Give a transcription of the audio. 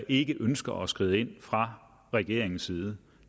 ikke ønsker at skride ind fra regeringens side